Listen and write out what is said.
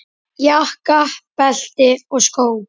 Jakka, belti og skó.